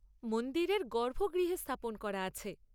মন্দিরের গর্ভগৃহে স্থাপন করা আছে।